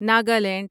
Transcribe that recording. Nagaland